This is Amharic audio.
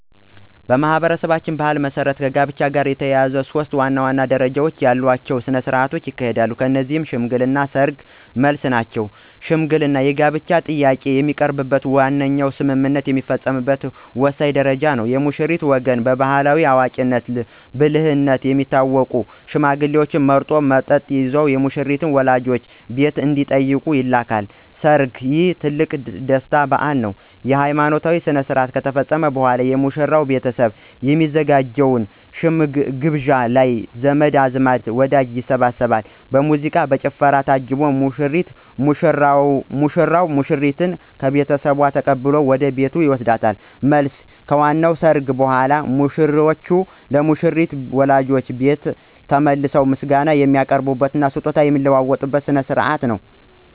በማኅበረሰባችን ባሕል መሠረት ከጋብቻ ጋር የተያያዙ ሦስት ዋና ዋና ደረጃዎች ያሏቸው ሥነ ሥርዓቶች ይካሄዳሉ። እነዚህም ሽምግልና፣ ሰርግ እና መልስ ናቸው። ሽምግልና የጋብቻ ጥያቄ የሚቀርብበትና ዋነኛው ስምምነት የሚፈጸምበት ወሳኝ ደረጃ ነው። የሙሽራው ወገን በባሕላዊ አዋቂነትና ብልህነት የሚታወቁ ሽማግሌዎችን መርጦ፣ መጠጥ ይዘው የሙሽሪትን ወላጆች ቤት እንዲጠይቁ ይልካል። ሰርግ: ይህ ትልቁ የደስታ በዓል ነው። ሃይማኖታዊ ሥርዓት ከተፈጸመ በኋላ፣ የሙሽራው ቤተሰብ በሚያዘጋጀው ግብዣ ላይ ዘመድ አዝማድና ወዳጅ ይሰባሰባል። በሙዚቃና በጭፈራ ታጅቦ ሙሽራው ሙሽሪትን ከቤተሰቧ ተቀብሎ ወደ ቤቱ ይወስዳል። መልስ: ከዋናው ሰርግ በኋላ፣ ሙሽሮች ለሙሽሪት ወላጆች ቤት ተመልሰው ምስጋና የሚያቀርቡበትና ስጦታ የሚለዋወጡበት ሥነ ሥርዓት ነው።